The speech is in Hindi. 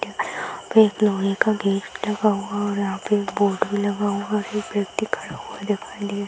पे एक लोहे का गेट लगा हुआ और यहाँ पे एक बोर्ड भी लगा हुआ है। एक व्यक्ति खड़ा हुआ दिखाई दे --